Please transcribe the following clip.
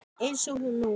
Eins og nú.